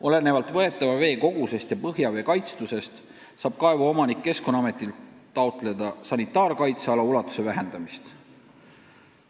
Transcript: Olenevalt võetava vee kogusest ja põhjavee kaitstusest saab kaevuomanik keskkonnaametilt taotleda sanitaarkaitseala ulatuse vähendamist.